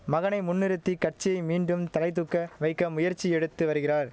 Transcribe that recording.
மகனை முன்னிறுத்தி கட்சியை மீண்டும் தலைதூக்க வைக்க முயற்சி எடுத்து வருகிறார்